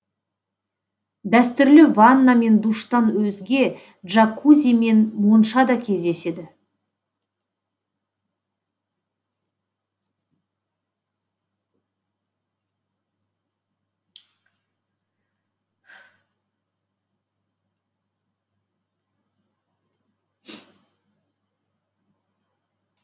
дәстүрлі ванна мен душтан өзге джакузи мен монша да кездеседі